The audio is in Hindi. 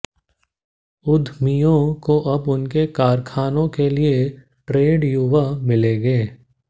उद्यमियों को अब उनके कारखानों के लिए ट्रेंड युवा मिलेंगे